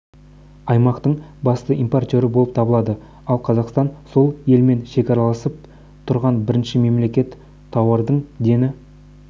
аймақтың басты импортері болып табылады ал қазақстан сол елмен шекараласып тұрған бірінші мемлекет тауардың дені